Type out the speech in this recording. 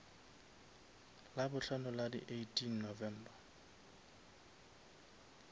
labohlano la di eighteen november